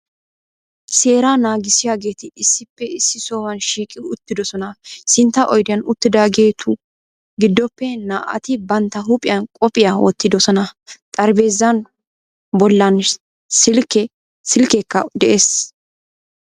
Seeraa naagissiyaageeti issippe issi sohuwan shiiqqi uttiddossona. Sintta oydiyan uttidaageetu giddoppe naa"ati bantta huuphiyan qophiya wottiddosona. Xarphpheezaa bollan silkkekka de'ees.